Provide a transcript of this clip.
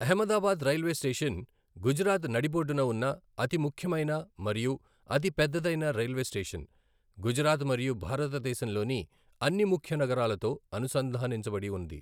Ahmedabad railway station Gujarat నడిబొడ్డున ఉన్న అతి ముఖ్యమైన మరియు అతిపెద్దదైన రైల్వే స్టేషన్ గుజరాత్ మరియు భారతదేశంలోని అన్ని ముఖ్య నగరాలతో అనుసంధానించబడి ఉంది.